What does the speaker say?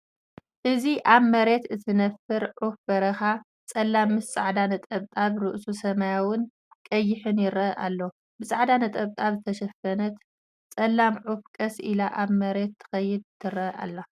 እዚ ኣብ መሬት እትነብር ዑፍ በረኻ፡ ጸላም ምስ ጻዕዳ ነጠብጣብ። ርእሱ ሰማያውን ቀይሕን ይረአ ኣሎ። ብጻዕዳ ነጠብጣብ ዝተሸፈነት ጸላም ዑፍ ቀስ ኢላ ኣብ መሬት ትኸይድ ትረአ ኣላ።